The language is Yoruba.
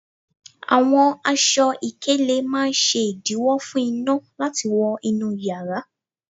Àwọn aṣọ ìkélé máa ń ṣe ìdiwọ̀ fún iná láti wó inú yara